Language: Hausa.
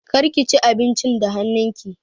Kada ki ci abincin da hannun ki!